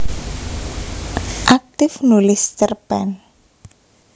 Aktif nulis cerpen